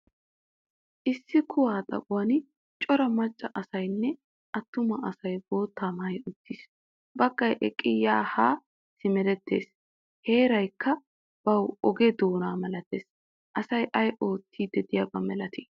Issi kuwa xaphphon cora macca asaynne attumma asay bootaa maayay uttiis. Baggaay eqqidi yaane haa simerettees. Heeraykka bawu oogee doona malaatees. Asay ayi oottidi deiyaba milati?